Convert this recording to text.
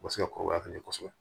O bɛ se ka kɔrɔbaya ka ɲɛ kosɛbɛ